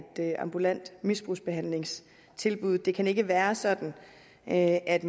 ambulant misbrugsbehandlingstilbud det kan ikke være sådan at at